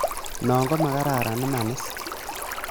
Non komakaran, imanis?